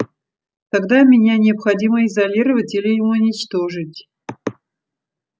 тогда меня необходимо изолировать или уничтожить